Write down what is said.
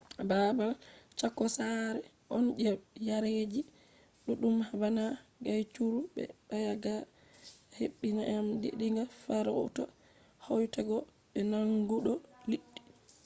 babal chako sare on je yareji ɗuɗɗum bana guaycurú be payaguá je heɓi nyamande diga farauta hautego be nangugo liɗɗi